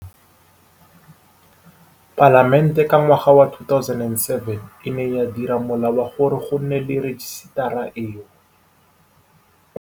Palamente ka ngwaga wa 2007 e ne ya dira Molao wa gore go nne le rejisetara eno.